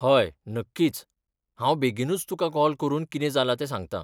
हय, नक्कीच, हांव बेगीनूच तुका कॉल करून कितें जालां तें सांगतां.